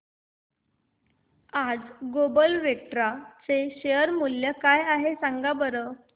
आज Global Vectra चे share मूल्य काय आहे सांगा बरं